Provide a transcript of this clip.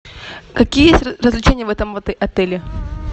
какие есть развлечения в этом отеле